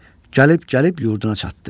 Gəlib-gəlib yurduna çatdı.